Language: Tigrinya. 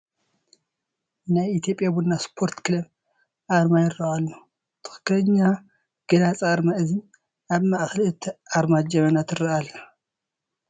ናይ ኢትዮጵያ ቡና ስፖርት ክለብ ኣርማ ይርአ ኣሎ፡፡ ትኽኽለኛ ገላፂ ኣርማ እዚ እዩ፡፡ ኣብ ማእኸል እቲ ኣርማ ጀበና ትርአ ኣላ፡፡